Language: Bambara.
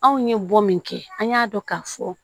Anw ye bɔ min kɛ an y'a dɔn k'a fɔ